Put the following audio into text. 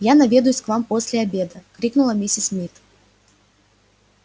я наведаюсь к вам после обеда крикнула миссис мид